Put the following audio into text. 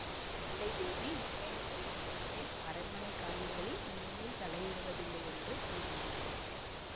இல்லை தேவி உண்மையை சொல்லிவிடுகிறேன் அரண்மனை காரியங்களில் இனிமேல் தலையிடுவதில்லையென்று தீர்மானித்து விட்டேன்